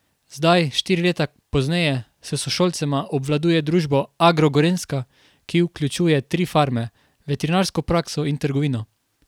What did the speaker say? Zdaj, štiri leta pozneje, s sošolcema obvladuje družbo Agro Gorenjska, ki vključuje tri farme, veterinarsko prakso in trgovino.